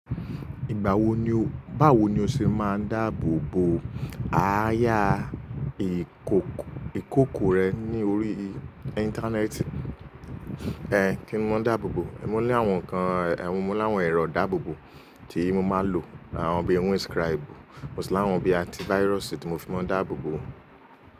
Ìgbà wo ni o, báwo ni o ṣe máa ń dáàbò bo àáyà ìkòkò rẹ ní orí Íńtánẹ́ẹ̀tì? Ehn, kí ni mo máa dáàbò bo? Mo ní àwọn nǹkan, èwo mo láwọn ẹ̀rọ ìdáàbò bo tí mo máa ń lò. Àwọn bí i windscribe, mo sì láwọn bíi antivirus tí mo fi máa ń dáàbò bo.